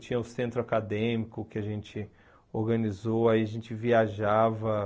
Tinha o centro acadêmico que a gente organizou, aí a gente viajava.